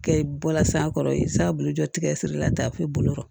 Kɛ i bɔla sanfɛ i sabolodɛ tigɛ sirila taa fo i bolo kɔrɔ